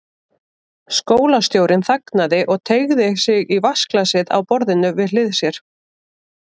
Skólastjórinn þagnaði og teygði sig í vatnsglasið á borðinu við hlið sér.